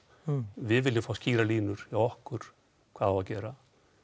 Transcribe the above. við viljum skýrar línur hjá okkur hvað á að gera